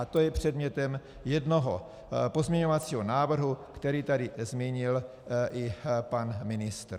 A to je předmětem jednoho pozměňovacího návrhu, který tady zmínil i pan ministr.